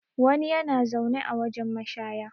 wani yana zaune a wajen mashaya